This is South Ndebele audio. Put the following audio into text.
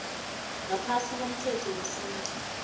ngaphasi komthetho wesintu